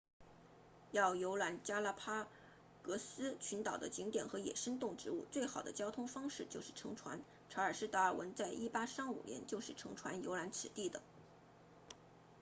要游览加拉帕戈斯群岛的景点和野生动植物最好的交通方式就是乘船查尔斯达尔文在1835年就是乘船游览此地的